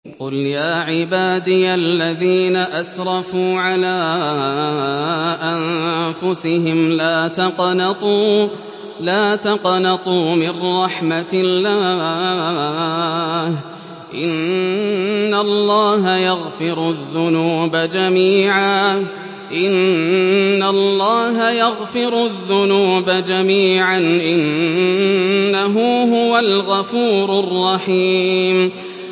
۞ قُلْ يَا عِبَادِيَ الَّذِينَ أَسْرَفُوا عَلَىٰ أَنفُسِهِمْ لَا تَقْنَطُوا مِن رَّحْمَةِ اللَّهِ ۚ إِنَّ اللَّهَ يَغْفِرُ الذُّنُوبَ جَمِيعًا ۚ إِنَّهُ هُوَ الْغَفُورُ الرَّحِيمُ